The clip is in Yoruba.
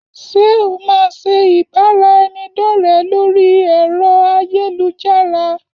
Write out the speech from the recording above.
Ṣé o máa ṣe ìbára ẹni dọ̀rẹ lórí ẹ̀rọ ayélujára